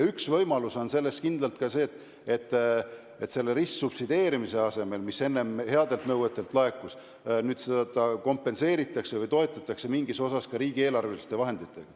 Üks võimalusi on kindlalt see, et ristsubsideerimise asemel seda kompenseeritakse või toetatakse mingis osas ka riigieelarveliste vahenditega.